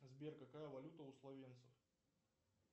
сбер какая валюта у словенцев